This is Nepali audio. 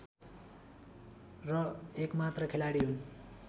र एकमात्र खेलाडी हुन्